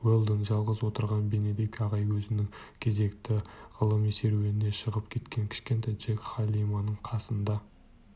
уэлдон жалғыз отырған бенедикт ағай өзінің кезектегі ғылыми серуеніне шығып кеткен кішкентай джек халиманың қасында